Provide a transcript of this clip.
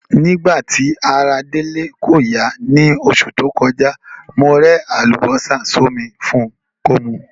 Nígbà ti ara Délé ko ya ni osù to kojá, mo re àlùbósà sómi fun ko mu